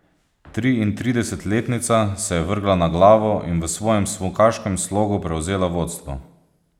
Triintridesetletnica se je vrgla na glavo in v svojem smukaškem slogu prevzela vodstvo.